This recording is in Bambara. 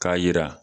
K'a yira